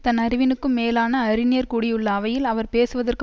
தன் அறிவினுக்கும் மேலான அறிஞர் கூடியுள்ள அவையில் அவர் பேசுவதற்கு